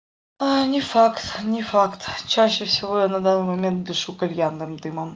не факт не факт чаще всего я на данный момент дышу кальянным дымом